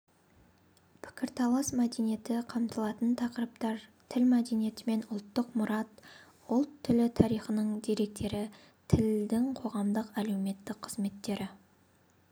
пікірталас мәдениеті қамтылатын тақырыптар тіл мәдениеті және ұлттық мұрат ұлт тілі тарихының деректері тілдің қоғамдық-әлеуметтік қызметтері